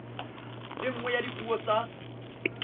le nngwe ya dipuo tsa